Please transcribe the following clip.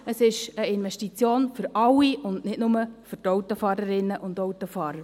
Es ist eine Investition für alle, und nicht nur für die Autofahrerinnen und Autofahrer.